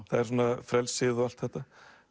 það er svona frelsið og allt þetta